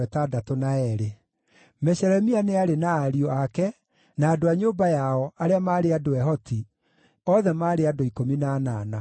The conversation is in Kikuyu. Meshelemia nĩ aarĩ na ariũ ake na andũ a nyũmba yao, arĩa maarĩ andũ ehoti, othe maarĩ andũ 18.